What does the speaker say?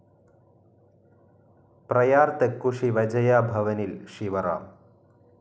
പ്രയാർ തെക്കു ശിവജയ ഭവനിൽ ശിവറാം